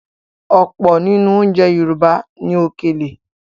Ọ̀pọ̀ nínú oúnjẹ Yorùbá ní “Òkèlè”.